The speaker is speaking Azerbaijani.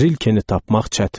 Rilkeni tapmaq çətindir.